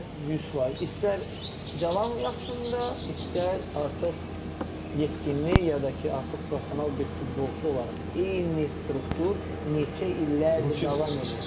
İstər 100%, istər cavan vaxtında, istər artıq yetkinlik ya da ki, artıq professional bir futbolçu olaraq, eyni struktur neçə illərdir davam eləyir.